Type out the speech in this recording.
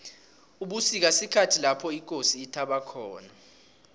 ubusika sikhathi lapho ikosi ithaba khona